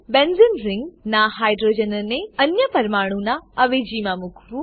બેન્ઝેને ring benzene ring નાં હાઇડ્રોજનને અન્ય પરમાણુઓનાં અવેજીમાં મૂકવું